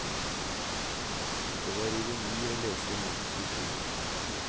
Det var ironi å lese i mannens uttrykk.